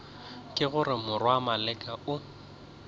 ke gore morwa maleka o